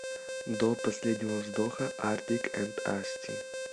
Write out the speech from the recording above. до последнего вздоха артик энд асти